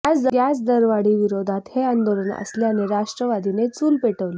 gas दरवाढी विरोधात हे आंदोलन असल्याने राष्ट्रवादीने चूल पेटवली